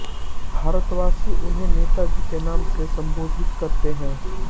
भारतवासी उन्हें नेता जी के नाम से सम्बोधित करते हैं